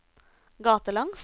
gatelangs